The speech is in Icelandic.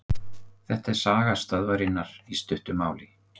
Þetta er saga stöðvarinnar í stuttu máli.